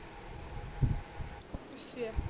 ਅੱਛਾ